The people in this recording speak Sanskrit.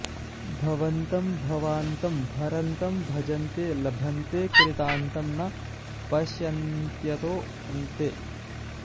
भवन्तं भवान्तं भरन्तं भजन्तो लभन्ते कृतान्तं न पश्यन्त्यतोऽन्ते